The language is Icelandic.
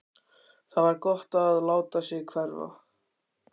Það var gott að láta sig hverfa.